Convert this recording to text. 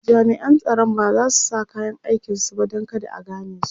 jami'an tsaron bazasu sa kayan aikin su ba Dan kada a ganesu